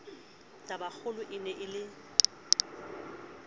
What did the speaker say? tabakgolo e ne e le